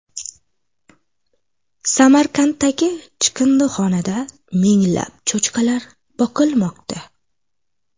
Samarqanddagi chiqindixonada minglab cho‘chqalar boqilmoqda.